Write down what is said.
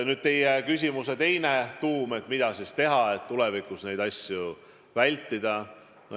Nüüd teie küsimus, mida siis teha, et tulevikus neid asju vältida.